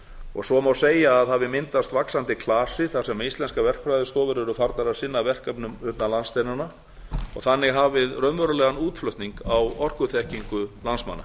og svo má segja að hafi myndast vaxandi klasi þar sem íslenskar verkfræðistofur eru farnar að sinna verkefnum utan landsteinanna og þannig hafið raunverulegan útflutning á orkuþekkingu landsmanna